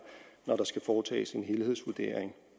når der skal foretages en helhedsvurdering